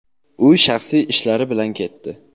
u shaxsiy ishlari bilan ketdi.